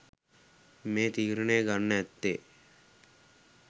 මේ තීරණය ගන්න ඇත්තේ